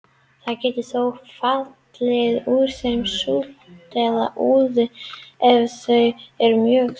Það getur þó fallið úr þeim súld eða úði ef þau eru mjög þykk.